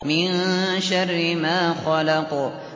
مِن شَرِّ مَا خَلَقَ